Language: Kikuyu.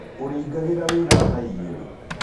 Ũrĩingagĩra wĩra thaa igĩrĩ.